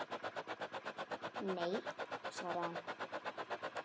Nei, svaraði hann.